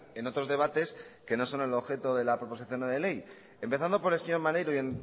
en otros debates que no son el objeto de la proposición no de ley empezando por el señor maneiro y